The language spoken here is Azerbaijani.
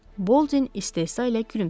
Boldin istehza ilə gülümsədi.